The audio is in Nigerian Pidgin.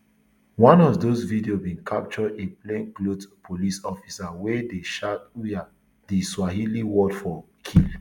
one of dose videos bin capture a plainclothes police officer wey dey shout uaa di swahili word for kill